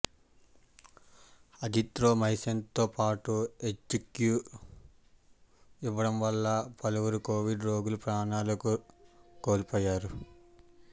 అజిత్రోమైసిన్తో పాటు హెచ్సీక్యూ ఇవ్వడం వల్ల పలువురు కొవిడ్ రోగులు ప్రాణాలుకోల్పోయారన్నారు